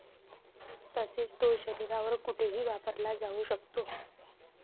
तसेच तो शरीरावर कुठेही वापरला जाऊ शकतो.